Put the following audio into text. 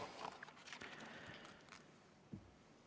Aitäh!